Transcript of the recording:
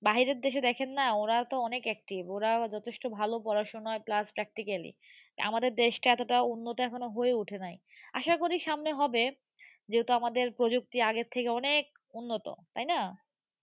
বাহিরের দেখেন না ওরাতো অনেক active ওরাও যথেষ্ঠ ভালো পড়াশুনায় class practically । আমাদের দেশটা এতটা উন্নত এখনো হয়ে উঠে নাই। আশাকরি সামনে হবে। যেহেতু আমাদের প্রযুক্তি আগের থেকে অনেক উন্নত। তাই না?